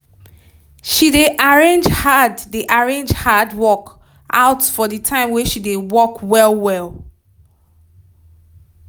she dey arrange hard dey arrange hard work out for the time wey she dey work well well